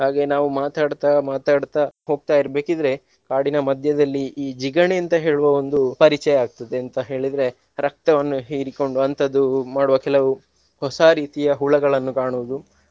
ಹಾಗೆ ನಾವು ಮಾತಾಡ್ತಾ ಮಾತಾಡ್ತಾ ಹೋಗ್ತಾ ಇರ್ಬೇಕಿದ್ರೆ ಕಾಡಿನ ಮಧ್ಯದಲ್ಲಿ ಈ ಜಿಗಣೆ ಅಂತ ಹೇಳುವ ಒಂದು ಪರಿಚಯ ಆಗ್ತದೆ ಅಂತ ಹೇಳಿದ್ರೆ ರಕ್ತವನ್ನು ಹೀರಿಕೊಂಡು ಅಂತದ್ದು ಮಾಡುವ ಕೆಲವು ಹೊಸ ರೀತಿಯ ಹುಳಗಳನ್ನು ಕಾಣುವುದು.